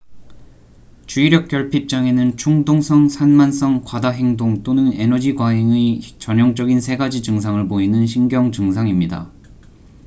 "주의력 결핍 장애는 "충동성 산만성 과다행동 또는 에너지 과잉의 전형적인 세 가지 증상을 보이는 신경증상입니다"".